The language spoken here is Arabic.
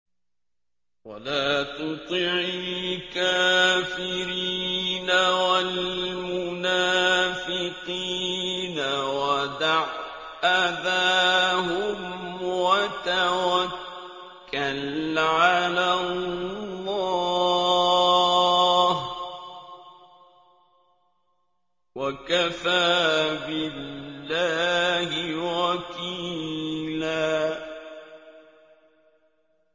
وَلَا تُطِعِ الْكَافِرِينَ وَالْمُنَافِقِينَ وَدَعْ أَذَاهُمْ وَتَوَكَّلْ عَلَى اللَّهِ ۚ وَكَفَىٰ بِاللَّهِ وَكِيلًا